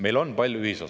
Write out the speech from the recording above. Meil on suur ühisosa.